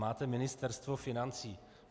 Máte Ministerstvo financí.